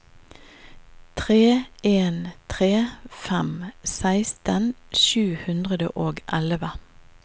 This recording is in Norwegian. tre en tre fem seksten sju hundre og elleve